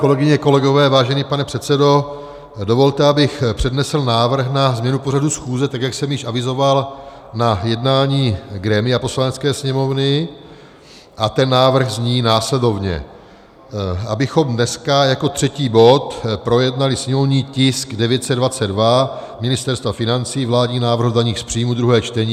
Kolegyně a kolegové, vážený pane předsedo, dovolte abych přednesl návrh na změnu pořadu schůze, tak jak jsem již avizoval na jednání grémia Poslanecké sněmovny, a ten návrh zní následovně: abychom dneska jako třetí bod projednali sněmovní tisk 922 Ministerstva financí, vládní návrh o daních z příjmů, druhé čtení.